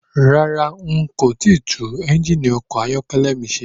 Rárá,n kò tíì tún ẹ́ngìnì ọkọ̀ ayọ́kẹ́lẹ́ mi ṣe.